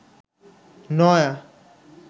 নয়া